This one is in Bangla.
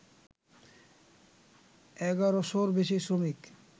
এগারোশোর বেশি শ্রমিক